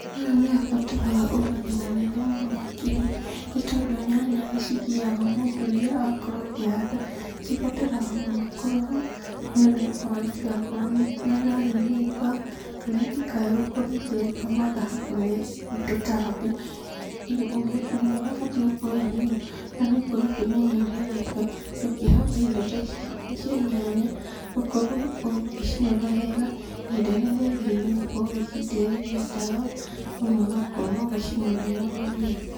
Haha nĩhabataraga ũmenyo mũnene mũno makĩria, nĩtondũ nyanya nĩcigiaga mũndũ rĩrĩa wakorwo ũkĩhanda, cibataraga mũno kũrorwo nĩũndũ onaitigakorwo nĩirahĩa nĩ mbaa, kana itikae gũkorwo ikĩrengwo mathangũ nĩ tũtambi, Ũmenyo ũrĩa ũbatiĩ gũkorwo wĩnaguo, bata nĩũkorwo ũkĩmenya ũrĩa ũreka, ũkĩhanda indo ta ici cia nyanya, ũkorwo ũgĩcirora wega, ihinda rĩrĩa rĩagĩrĩire ũgakorwo ũgĩciitĩrĩria ndawa, ona ũgakorwo ũgĩcimunyĩra maria.